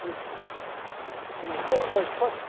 Vocês conheceram o?